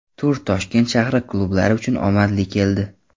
Tur Toshkent shahri klublari uchun omadli keldi.